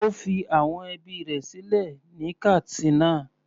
Ó fi àwọn ẹbí rẹ̀ sílẹ̀ ní Katsina.